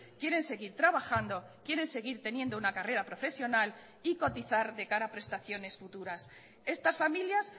quieren seguir trabajando quieren seguir teniendo una carrera profesional y cotizar de cara a prestaciones futuras estas familias